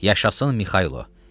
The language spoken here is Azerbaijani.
Yaşasın Mikaylo.